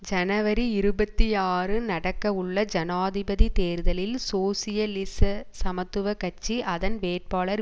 ஜனவரி இருபத்தி ஆறு நடக்கவுள்ள ஜனாதிபதி தேர்தலில் சோசியலிச சமத்துவ கட்சி அதன் வேட்பாளர்